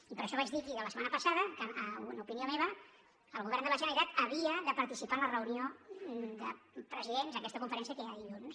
i per això vaig dir aquí la setmana passada que una opinió meva el govern de la generalitat havia de participar en la reunió de presidents aquesta conferència que hi ha dilluns